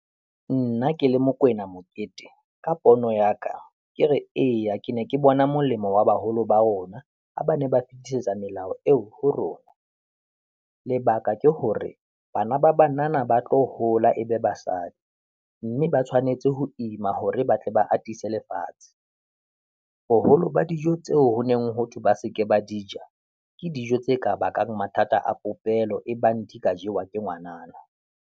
Nna ke le Mokoena Mokete, ka pono ya ka, ke re eya, ke ne ke bona molemo wa baholo ba rona ha ba ne ba fetisetsa melao eo ho rona. Lebaka ke hore bana ba banana ba tlo hola e be basadi mme ba tshwanetse ho ima hore ba tle ba atise lefatshe. Boholo ba dijo tseo ho neng ho thwe ba seke ba di ja, ke dijo tse ka bakang mathata a popelo e bang di ka jewa ke ngwanana.